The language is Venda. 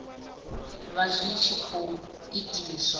vha zwi tshi khou itiswa